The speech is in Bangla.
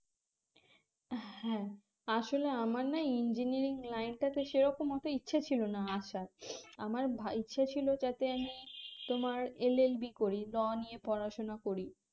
হ্যাঁ আসলে আমার না engineering line টাতে সেরকম অত ইচ্ছা ছিল না আসার আমার ভা ইচ্ছে ছিল যাতে আমি তোমার LLB করি law নিয়ে পড়াশোনা করি